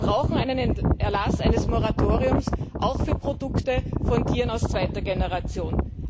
Wir brauchen den Erlass eines Moratoriums, auch für Produkte von Tieren aus zweiter Generation.